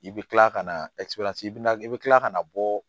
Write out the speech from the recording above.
I bɛ kila ka na i bɛ na i bɛ kila ka na bɔ